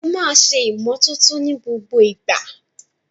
Ẹ máa ṣe ìmọ́tótó ní gbogbo ìgbà!